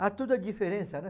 Há toda a diferença, né?